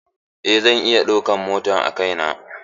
Eh zan iya ɗaukan mota a kai na.